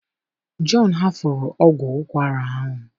John hafuru ọgwụ ụkwara ahụ